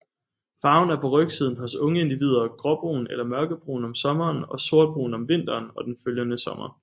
Farven er på rygsiden hos unge individer gråbrun eller mørkebrun om sommeren og sortbrun om vinteren og den følgende sommer